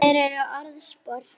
Þær eru orðspor þitt.